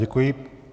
Děkuji.